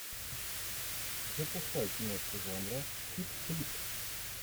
запускай киношку жанра чик флик